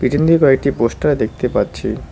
এমনি কয়েকটি পোস্টার দেখতে পাচ্ছি।